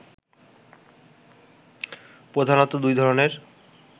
প্রধানত দুই ধরনের